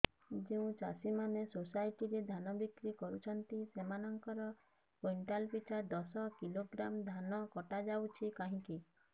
ଯେଉଁ ଚାଷୀ ମାନେ ସୋସାଇଟି ରେ ଧାନ ବିକ୍ରି କରୁଛନ୍ତି ସେମାନଙ୍କର କୁଇଣ୍ଟାଲ ପିଛା ଦଶ କିଲୋଗ୍ରାମ ଧାନ କଟା ଯାଉଛି କାହିଁକି